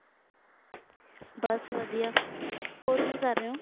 ਬਸ ਵਧੀਆ ਹੋਰ ਕੀ ਕਰ ਰਹੇ ਹੋ?